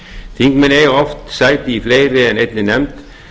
þingmenn eiga oft sæti í fleiri en einni nefnd